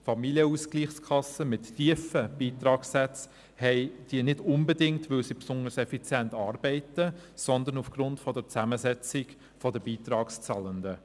Familienausgleichskassen mit tiefen Beitragssätzen haben diese nicht unbedingt, weil sie besonders effizient arbeiten, sondern aufgrund der Zusammensetzung der Beitragszahlenden.